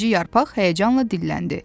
Birinci yarpaq həyəcanla dilləndi.